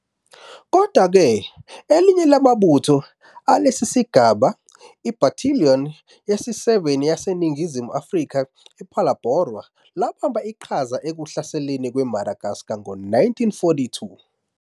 Kodwa-ke, elinye lamabutho alesi sigaba - iBattalion yesi-7 yaseNingizimu Afrika ePhalaborwa - labamba iqhaza ekuhlaselweni kweMadagascar ngo-1942.